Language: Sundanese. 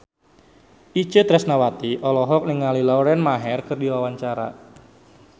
Itje Tresnawati olohok ningali Lauren Maher keur diwawancara